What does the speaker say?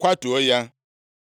kwatuo ya?”